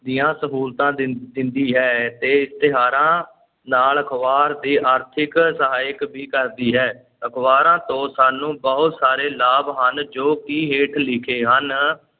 ਦੀਆਂ ਸਹੂਲਤਾਂ ਦਿੰ~ ਦਿੰਦੀ ਹੈ ਤੇ ਇਸ਼ਤਿਹਾਰਾਂ ਨਾਲ ਅਖ਼ਬਾਰ ਦੀ ਆਰਥਿਕ ਸਹਾਇਕ ਵੀ ਕਰਦੀ ਹੈ, ਅਖਬਾਰਾਂ ਤੋਂ ਸਾਨੂੰ ਬਹੁਤ ਸਾਰੇ ਲਾਭ ਹਨ ਜੋ ਕਿ ਹੇਠ ਲਿਖੇ ਹਨ।